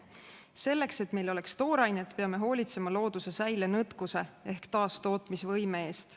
Selleks, et meil oleks toorainet, peame hoolitsema looduse säilenõtkuse ehk taastootmisvõime eest.